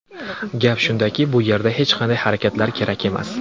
Gap shundaki, bu yerda hech qanday harakatlar kerak emas.